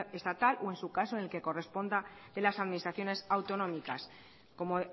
estatal o en su caso en el que corresponda de las administraciones autonómicas como